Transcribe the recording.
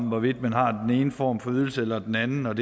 hvorvidt man har den ene form for ydelse eller den anden og at